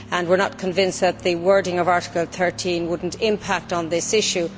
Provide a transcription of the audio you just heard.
We are not convinced that the wording of Article 13 would not impact on this issue.